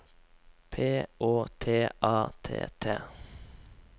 P Å T A T T